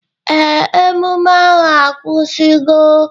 Ee, emume ahụ akwụsigo.